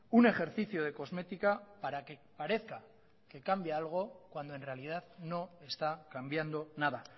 un ejercicio de cosmética para que parezca que cambia algo cuando en realidad no está cambiando nada